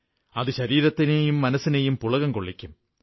അത് ശരീരത്തിനേയും മനസ്സിനെയും പുളകം കൊള്ളിക്കും